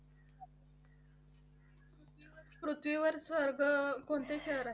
पृथ्वीवर स्वर्ग कोणते शहर आहे?